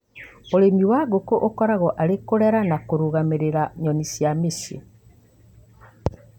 ũrĩmi wa ngũkũ ũkoragwo arĩ kũrera na kũrũgamĩrĩra nyoni cia mũcii